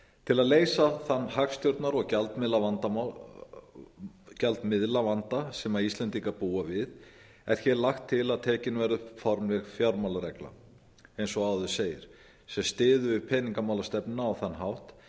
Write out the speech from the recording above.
til að leysa þann hagstjórnar og gjaldmiðilsvanda sem íslendingar búa við er hér lagt til að tekin verði upp formleg fjármálaregla eins og áður segir sem styður við peningamálastefnuna á þann hátt